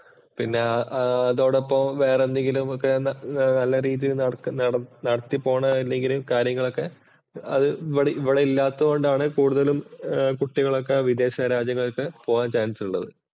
പിന്നെ ഇതോടൊപ്പം വേറെ എന്തെങ്കിലും ഒക്കെ വേറെ നല്ല രീതിയില്‍ നടക്ക നടത്തി പോണതല്ലെങ്കില്‍ കാര്യങ്ങളൊക്കെ അത് ഇവടെ ഇവടെ ഇല്ലാത്തതുകൊണ്ടാണ് കൂടുതലും കുട്ടികളൊക്കെ വിദേശരാജ്യങ്ങളിൽ പോകാൻ ചാന്‍സ് ഉള്ളത്.